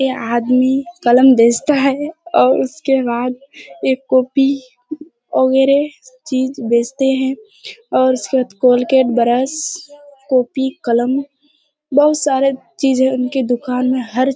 यह आदमी कलम बेचता है और उसके बाद एक कॉपी वगैरे चीज बेचते हैं और उसके बाद कोलगेट ब्रश कॉपी कलम बहुत सारे चीज है उनके दुकान मे हर --